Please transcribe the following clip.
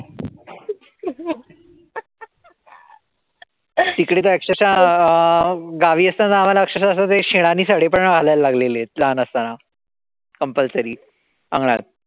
तिकडे तर अक्षरशः गावी असताना आम्हाला अक्षरशः ते शेणानी सडे पण घालायला लागलेय लहान असताना compulsory अंगणात.